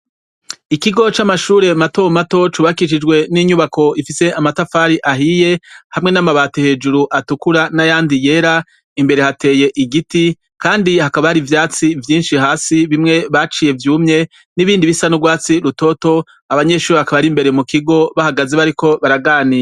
Ikigo camashure matomato cubakishijwe ninyubako ifise amatafari ahiye hamwe namabati hejuru atukura nayandi yera imbere hateye igiti kandi hakaba hari ivyatsi vyinshi hasi bimwe baciye vyumye nibindi bisa nurwatsi rutoto abanyeshure bakaba bari imbere mukigo bakaba bahagaze imbere bariko baraganira